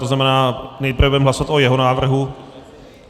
To znamená, nejprve budeme hlasovat o jeho návrhu.